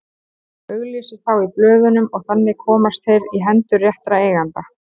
Hún auglýsir þá í blöðunum og þannig komast þeir í hendur réttra eigenda.